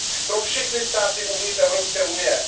pro všechny státy uvnitř Evropské unie.